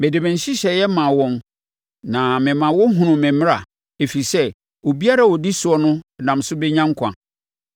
Mede me nhyehyɛeɛ maa wɔn na me ma wɔhunuu me mmara, ɛfiri sɛ obiara a ɔdi soɔ no nam so bɛnya nkwa.